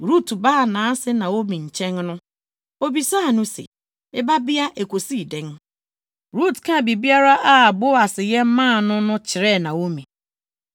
Rut baa nʼase Naomi nkyɛn no, obisaa no se, “Me babea, ekosii dɛn?” Rut kaa biribiara a Boas yɛ maa no no kyerɛɛ Naomi,